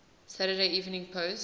saturday evening post